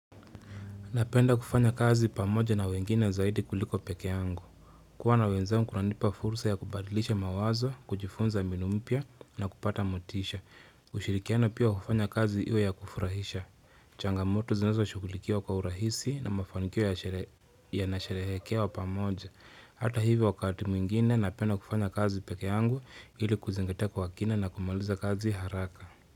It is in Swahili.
Napenda kufanya kazi pamoja na wengine zaidi kuliko peke yangu. Kuwa nawanzangu kunanipa fursa ya kubadilisha mawazo, kujifunza binu mpya na kupata motisha. Ushirikiana pia kufanya kazi iwe ya kufurahisha. Changamoto zinazo shughulikiwa kwa urahisi na mafanikio yanasherehekewa pamoja. Hata hivyo wakati mwingine napenda kufanya kazi peke yangu ili kuzingatia kwa kina na kumaliza kazi haraka.